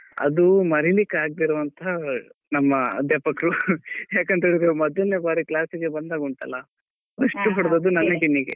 ಅದು ಮರಿಲಿಕ್ಕೆ ಆಗ್ದೇ ಇರುವಂತ ನಮ್ಮ ಅಧ್ಯಾಪಕ್ರು ಯಾಕಂಥ್ಹೇಳಿದ್ರೇ ಮೊದ್ಲೆನೆ ಬಾರಿ class ಗೆ ಬಂದಾಗ ಉಂಟಲ್ಲ first ಹೊಡ್ದದ್ದು ನನ್ನ ಬೆನ್ನಿಗೆ.